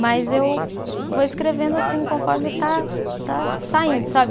Mas eu vou escrevendo assim conforme está, está saindo, sabe?